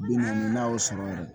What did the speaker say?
Bi naani naani na o sɔrɔ